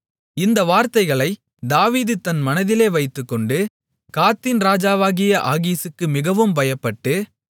இந்த வார்த்தைகளைத் தாவீது தன் மனதிலே வைத்துக்கொண்டு காத்தின் ராஜாவாகிய ஆகீசுக்கு மிகவும் பயப்பட்டு